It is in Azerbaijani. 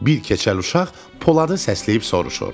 Bir keçəl uşaq Poladı səsləyib soruşur.